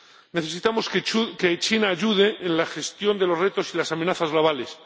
Necesitamos que China ayude en la gestión de los retos y las amenazas globales.